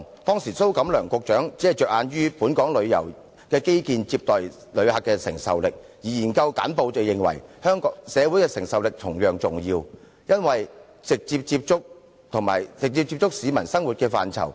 當時蘇錦樑局長只着眼於本港旅遊基建接待旅客的承受力，而研究簡報則認為社會承受力同樣重要，因為這是直接接觸市民生活的範疇。